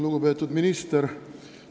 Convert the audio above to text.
Lugupeetud minister!